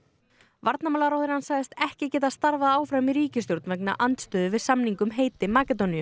varnarmálaráðherrann sagðist ekki geta starfað áfram í ríkisstjórn vegna andstöðu við samning um heiti Makedóníu